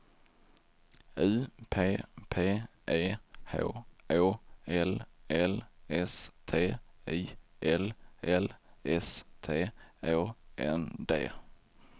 U P P E H Å L L S T I L L S T Å N D